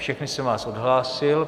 Všechny jsem vás odhlásil.